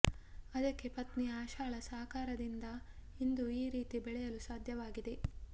ಅದಕ್ಕೆ ಪತ್ನಿ ಆಶಾಳ ಸಹಕಾರದಿಂದ ಇಂದು ಈ ರೀತಿ ಬೆಳೆಯಲು ಸಾಧ್ಯವಾಗಿದೆ